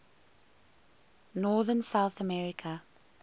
northern south america